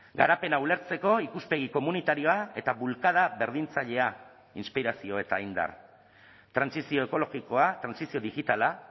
garapena ulertzeko ikuspegi komunitarioa eta bulkada berdintzailea inspirazio eta indar trantsizio ekologikoa trantsizio digitala